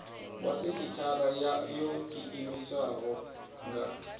wa sekithara yo iimisaho nga